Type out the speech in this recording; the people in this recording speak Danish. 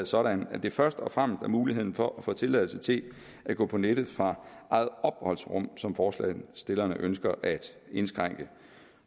sådan at det først og fremmest er muligheden for at få tilladelse til at gå på nettet fra eget opholdsrum som forslagsstillerne ønsker at indskrænke